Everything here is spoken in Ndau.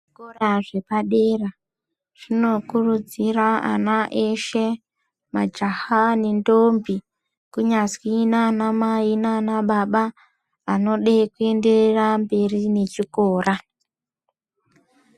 Zvikora zvepadera zvinokurudzira ana eshe majaha nendombi kunyazwi nana mai nanababa anoda kuenderera mberi nechikora.